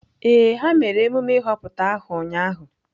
Ee, ha mere emume ịhọpụta aha ụnyahụ